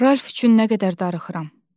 Ralf üçün nə qədər darıxıram.